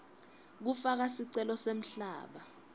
kufaka sicelo semhlaba